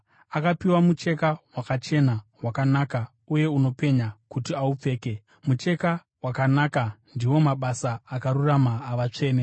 Akapiwa mucheka wakachena, wakanaka uye unopenya kuti aupfeke.” (Mucheka wakanaka ndiwo mabasa akarurama avatsvene.)